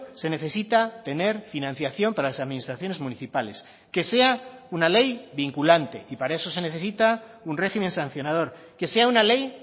se necesita tener financiación para las administraciones municipales que sea una ley vinculante y para eso se necesita un régimen sancionador que sea una ley